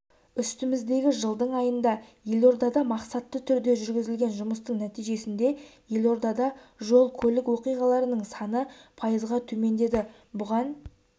үстіміздегі жылдың айында елордада мақсатты түрде жүргізілген жұмыстың нәтижесінде елордада жол-көлік оқиғаларының саны пайызға төмендеді бұған